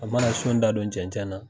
A mana da don cɛncɛn na